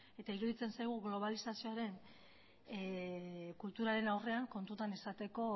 eta iruditzen zaigu globalizazioaren kulturaren aurrean kontutan izateko